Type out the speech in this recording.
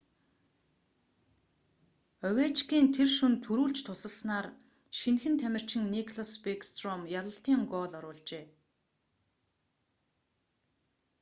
овечкин тэр шөнө түрүүлж тусалснаар шинэхэн тамирчин никлас бэкстром ялалтын гоол оруулжээ